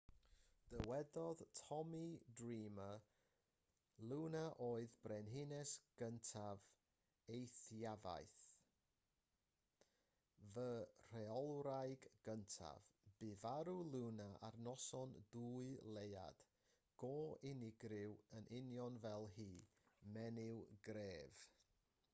dywedodd tommy dreamer luna oedd brenhines gyntaf eithafiaeth fy rheolwraig gyntaf bu farw luna ar noson dwy leuad go unigryw yn union fel hi menyw gref